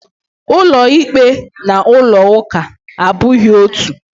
Ulo ikpe na ulo uka abughi otu.